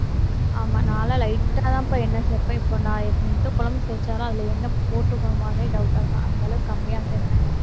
ஆமா, நான் எல்லாம் light ஆ தாம்ப்பா எண்ணெய் சேர்ப்பேன். இப்போ நான் எந்த குழம்பு செஞ்சாலும் அதுல என்ன போட்டிருக்கோமோ அதே doubt ஆ இருக்கும். அந்த அளவுக்கு, கம்மியா சேர்ப்பேன்